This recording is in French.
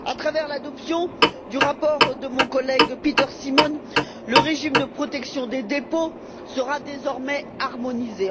À travers l'adoption du rapport de mon collègue Peter Simon, le régime de protection des dépôts sera désormais harmonisé.